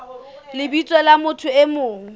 lebitsong la motho e mong